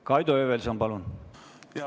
Kaido Höövelson, palun!